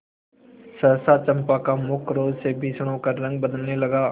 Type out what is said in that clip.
सहसा चंपा का मुख क्रोध से भीषण होकर रंग बदलने लगा